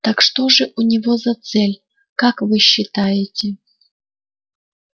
так что же у него за цель как вы считаете